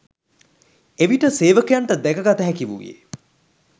එවිට සේවකයන්ට දැකගත හැකි වූයේ